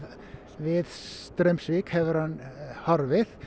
við Straumsvík hefur hann horfið